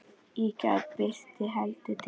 Í gær birti heldur til.